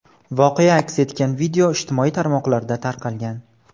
Voqea aks etgan video ijtimoiy tarmoqlarda tarqalgan.